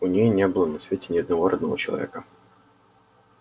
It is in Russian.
у неё не было на свете ни одного родного человека